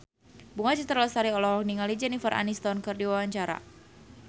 Bunga Citra Lestari olohok ningali Jennifer Aniston keur diwawancara